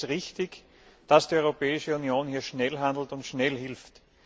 Ich denke, es ist richtig, dass die Europäische Union hier schnell handelt und schnell hilft.